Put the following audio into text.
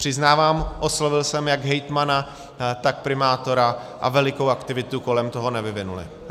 Přiznávám, oslovil jsem jak hejtmana, tak primátora a velikou aktivitu kolem toho nevyvinuli.